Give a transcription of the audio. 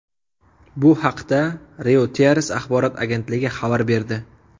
Bu haqda Reuters axborot agentligi xabar berdi.